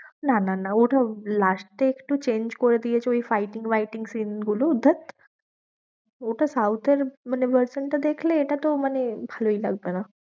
না না না, ওটা last টা একটু change করে দিয়েছে fighting বাইটিং scene গুলো ধ্যাৎ ওটা south এর মানে version টা দেখলে এটা তো মানে ভালোই লাগবে না।